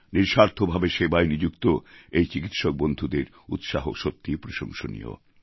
নিঃস্বার্থ ভাবে সেবায় নিযুক্ত এই চিকিৎসকবন্ধুদের উৎসাহ সত্যি প্রশংসনীয়